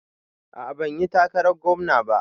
A'a banyi takarar gwamna ba